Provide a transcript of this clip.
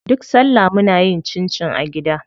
Duk salla muna yin cincin a gida.